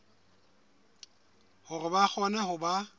hore ba kgone ho ba